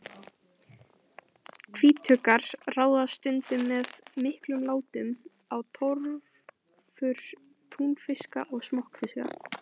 Hvítuggar ráðast stundum með miklum látum á torfur túnfiska og smokkfiska.